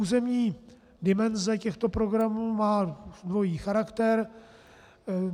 Územní dimenze těchto programů má dvojí charakter.